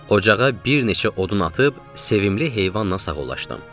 Ocağa bir neçə odun atıb, sevimli heyvanla sağollaşdım.